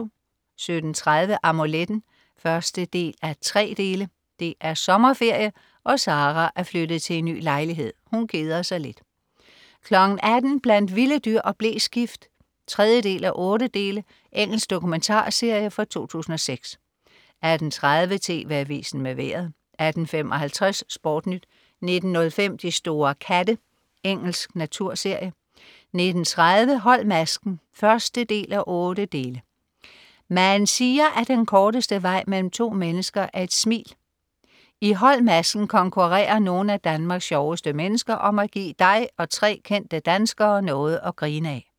17.30 Amuletten 1:3. Det er sommerferie, og Sara er flyttet til en ny lejlighed. Hun keder sig lidt 18.00 Blandt vilde dyr og bleskift 3:8. Engelsk dokumentarserie fra 2006 18.30 TV AVISEN med Vejret 18.55 SportNyt 19.05 De store katte. Engelsk naturserie 19.30 Hold masken 1:8. Man siger at den korteste vej mellem to mennesker er et smil. I Hold masken konkurrerer nogen af Danmarks sjoveste mennesker om at gi' dig og 3 kendte dansker noget at grine af